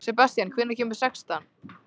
Sebastían, hvenær kemur sexan?